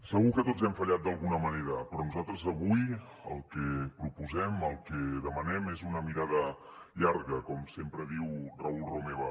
segur que tots hem fallat d’alguna manera però nosaltres avui el que proposem el que demanem és una mirada llarga com sempre diu raül romeva